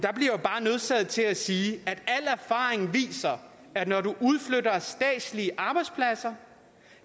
så jeg til at sige at al erfaring viser at når du udflytter statslige arbejdspladser